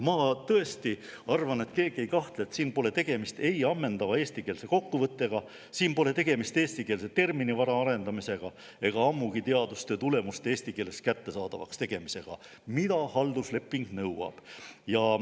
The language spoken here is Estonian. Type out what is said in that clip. Ma tõesti arvan, et keegi ei kahtle selles, et siin pole tegemist ammendava eestikeelse kokkuvõttega, pole tegemist eestikeelse terminivara arendamisega ega ammugi teadustöö tulemuste eesti keeles kättesaadavaks tegemisega, mida haldusleping nõuab.